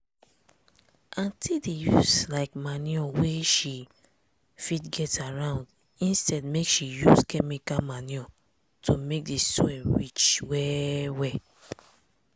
aunty dey like use manure wey she fit get around instead make she use chemical manure to make di soil rich well well.